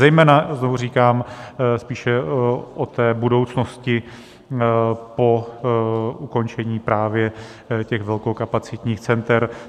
Zejména, znovu říkám, spíše o té budoucnosti po ukončení právě těch velkokapacitních center.